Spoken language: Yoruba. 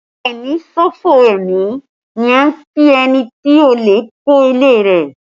A o ní ṣòfò ẹmi ni a ń kí ẹni tí olè kó ilé rẹ